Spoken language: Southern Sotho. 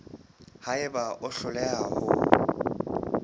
ha eba o hloleha ho